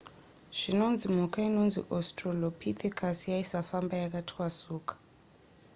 zvinonzi mhuka inonzi australopithecus yaisafamba yakatwasuka